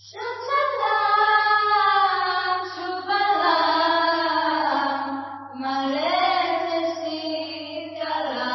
സുജലാം സുഫലാം മലയജ ശീതളാം